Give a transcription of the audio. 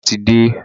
Bàbá ti de